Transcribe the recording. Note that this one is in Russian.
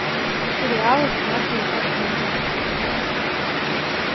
сериалы снятые по книге